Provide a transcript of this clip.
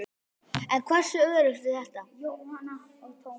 En hversu öruggt er þetta?